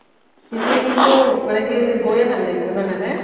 তেতিয়া কিন্তু এনেকে গৈয়েই ভাল লাগিব ন' এনেকে